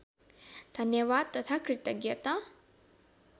धन्यवाद तथा कृतज्ञता